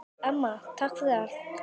Amma, takk fyrir allt.